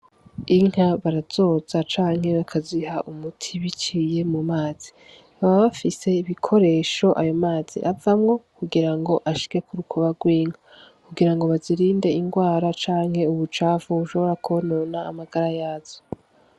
Inka barazoza canke bakaziha umuti biciye mu mazi baba bafise ibikoresho ayo mazi avamwo kugira ngo ashike ku rukoba rw'inka kugira ngo bazirinde ingwara canke ubucafu bushobora kwonona amagara yazo.